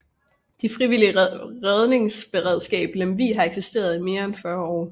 Det frivillige redningsberedskab Lemvig har eksisteret i mere end 40 år